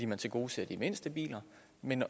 man tilgodeser de mindste biler men